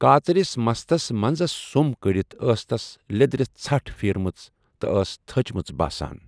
کاژرِس مستَس منٛزس سُم کٔڑِتھ ٲس تس لیٚدرِ ژھٹھ پھیٖرمٕژ تہٕ ٲس تٔھچمٕژ باسان ۔